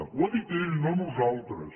ho ha dit ell no nosaltres